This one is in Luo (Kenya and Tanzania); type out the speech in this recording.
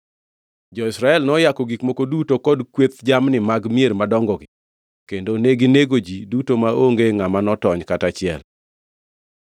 Jo-Israel noyako gik moko duto kod kweth jamni mag mier madongogi, kendo neginego ji duto maonge ngʼama notony kata achiel.